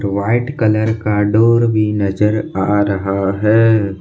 White colour का door भी नजर आ रहा है ।